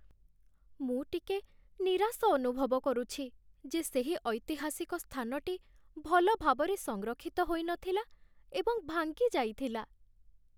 ମୁଁ ଟିକେ ନିରାଶ ଅନୁଭବ କରୁଛି ଯେ ସେହି ଐତିହାସିକ ସ୍ଥାନଟି ଭଲ ଭାବରେ ସଂରକ୍ଷିତ ହୋଇ ନଥିଲା ଏବଂ ଭାଙ୍ଗିଯାଇଥିଲା